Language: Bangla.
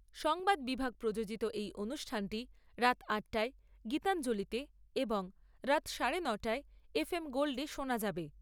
সংবাদ বিভাগ প্রযোজিত এই অনুষ্ঠানটি রাত আট'টায় গীতাঞ্জলিতে এবং রাত সাড়ে ন'টায় এফ এম গোল্ডে শোনা যাবে।